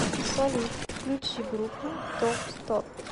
салют включи группу том строб